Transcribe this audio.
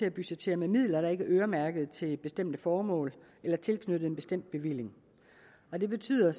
at budgettere med midler der ikke er øremærket til bestemte formål eller tilknyttet en bestemt bevilling og det betyder